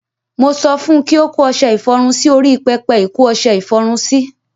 Mo sọ fun kí ó kó ọṣẹ ìfọrun sí orí pẹpẹ ìkó ọṣẹ ìfọrun sí.